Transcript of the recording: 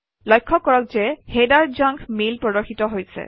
লক্ষ্য কৰক যে হেডাৰ জাংক মেইল প্ৰদৰ্শিত হৈছে